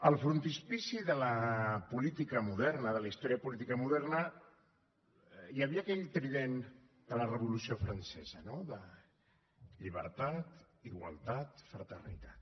al frontispici de la política moderna de la història política moderna hi havia aquell trident de la revolució francesa de llibertat igualtat fraternitat